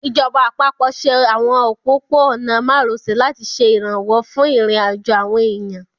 Ìjọba àpapọ̀ ṣe àwọn òpópó-ọ̀nà márosẹ̀ láti ṣe ìrànwọ́ fún ìrìnàjò àwọn èèyàn